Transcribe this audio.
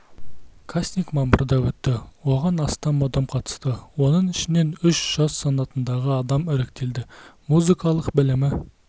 кастинг мамырда өтті оған астам адам қатысты оның ішінен үш жас санатындағы адам іріктелді музыкалық білімі